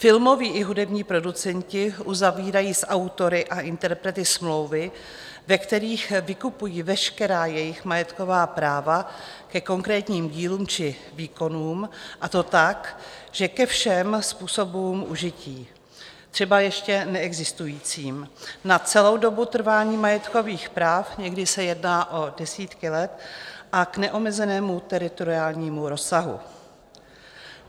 Filmoví i hudební producenti uzavírají s autory a interprety smlouvy, ve kterých vykupují veškerá jejich majetková práva ke konkrétním dílům či výkonům, a to tak, že ke všem způsobům užití, třeba ještě neexistujícím, na celou dobu trvání majetkových práv, někdy se jedná o desítky let, a k neomezenému teritoriálnímu rozsahu.